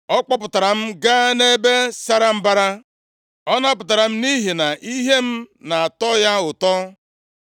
Ọ kpọpụtara m gaa nʼebe sara mbara, Ọ napụtara m nʼihi na ihe m na-atọ ya ụtọ.